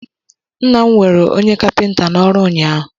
Nna m nwere onye Kapịnta n'ọrụ ụnyaahụ